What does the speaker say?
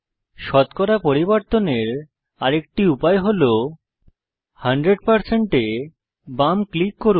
শতকরা পরিবর্তনের আরেকটি উপায় হল 100 এ বাম ক্লিক করুন